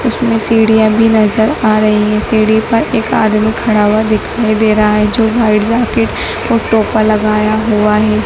उसमें सीढ़ियां भी नज़र आ रही है सीढी पर एक आदमी खड़ा हुआ दिखाई दे रहा है जो व्हाइट जैकेट ओ टोपा लगाया हुआ है।